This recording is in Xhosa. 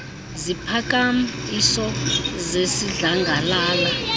ziphakam iso zesidlangalala